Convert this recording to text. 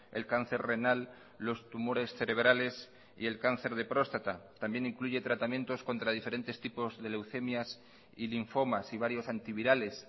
el cáncer renal los tumores cerebrales y el cáncer de próstata también incluye tratamientos contra diferentes tipos de leucemias y linfomas y varios antivirales